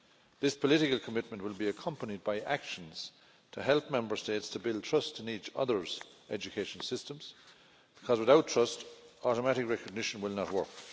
This political commitment will be accompanied by actions to help Member States to build trust in each other's education systems, because without trust, automatic recognition will not work.